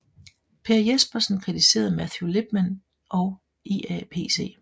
Per Jespersen kritiserede Matthew Lipman og IAPC